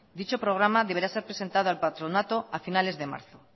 dicho programa deberá ser presentado al patronato a finales de marzo